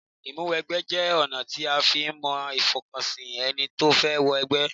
Ìmúwẹgbẹ́ jẹ́ ọ̀nà tí a fi ń mọ ìfọkànsìn ẹni tó fẹ́ wọ ẹgbẹ́